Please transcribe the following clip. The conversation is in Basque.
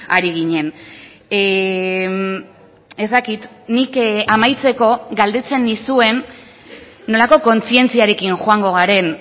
ari ginen ez dakit nik amaitzeko galdetzen nizuen nolako kontzientziarekin joango garen